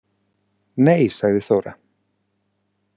Nei, sagði Þóra.